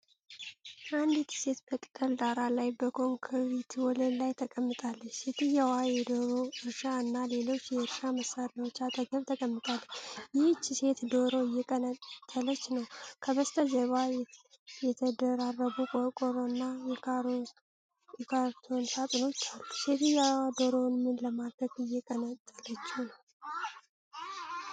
አንዲት ሴት በቅጠል ዳራ ላይ በኮንክሪት ወለል ላይ ተቀምጣለች። ሴትየዋ የዶሮ እርሻ እና ሌሎች የእርሻ መሳሪያዎች አጠገብ ተቀምጣለች። ይህች ሴት ዶሮ እየቀነጠለች ነው። ከበስተጀርባ የተደራረቡ የቆርቆሮና የካርቶን ሳጥኖች አሉ። ሴትየዋ ዶሮውን ምን ለማድረግ እየቀነጠለችው ነው?